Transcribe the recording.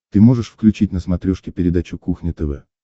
ты можешь включить на смотрешке передачу кухня тв